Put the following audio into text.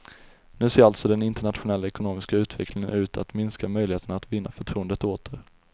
Nu ser alltså den internationella ekonomiska utvecklingen ut att minska möjligheterna att vinna förtroendet åter.